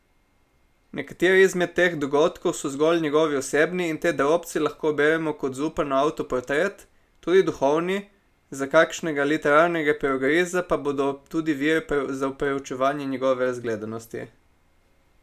Nekateri izmed teh dogodkov so zgolj njegovi osebni, in te drobce lahko beremo kot Zupanov avtoportret, tudi duhovni, za kakšnega literarnega perogriza pa bodo tudi vir za preučevanje njegove razgledanosti.